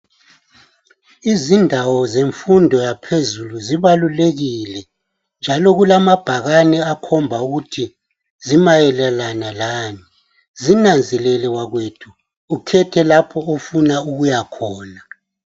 Izindawo zemfundo yaphezulu zibalulekile njalo kulamabhakane akhomba ukuthi zimayelana lani, zinanzelele wakwethu ukhethe lapho ofuna ukuyakhona.